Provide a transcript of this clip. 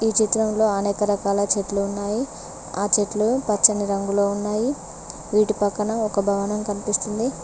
ఈ చిత్రంలో అనేక రకాల చెట్లు ఉన్నాయి ఆ చెట్లు పచ్చని రంగులో ఉన్నాయి వీటి పక్కన ఒక భవనం కనిపిస్తుంది.